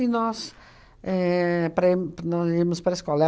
nós éh para ir nós íamos para a escola.